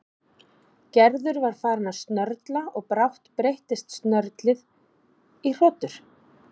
Gerður var farin að snörla og brátt breyttist snörlið í hrotur.